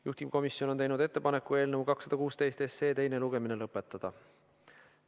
Juhtivkomisjon on teinud ettepaneku eelnõu 216 teine lugemine lõpetada.